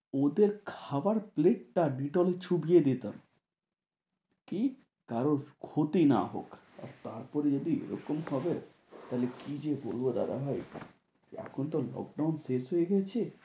ওদের খাবার পেলেট চুবিয়ে দিতাম, কি কারোর ক্ষতি না হোক, তারপরও যদি এরকম ভাবো তাহলে কি যে করবো দাদাভাই এখন যা Lockdown চলছে।